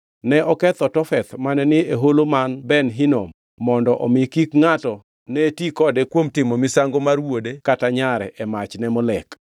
Ne oketho Tofeth mane ni e holo man Ben Hinom, mondo omi kik ngʼato ne ti kode kuom timo misango mar wuode kata nyare e mach ne Molek.